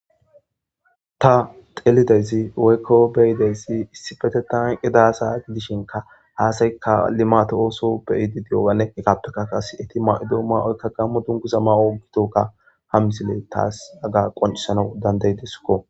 ta xelideyzi woykko beyideysi issipete tanqe daasa gidishinka haasaykka limato ooso beyidi di'ogane ekapeka kase eti ma'ido ma'oykka gammo dunkuza ma'o ogitokka ha misile taas aga qoncisanau danday deskko.